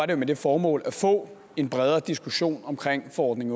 det med det formål at få en bredere diskussion omkring forordning